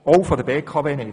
Auch von der BKW nicht.